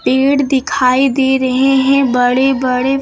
Gate दिखाई दे रहे हैं बड़े बड़े।